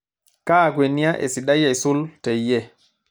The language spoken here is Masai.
kaa kwenia esidai aisul teyie